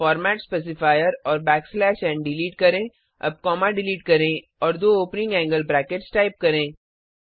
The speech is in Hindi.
फॉर्मेट स्पेसिफायर और बैक स्लैश एन डिलीट करें अब कॉमा डिलीट करें और दो ओपनिंग एंगल ब्रैकेट्स टाइप करें